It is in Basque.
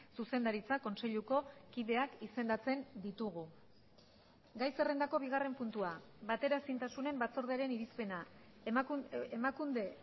zuzendaritza kontseiluko kideak izendatzen ditugu gai zerrendako bigarren puntua bateraezintasunen batzordearen irizpena emakunde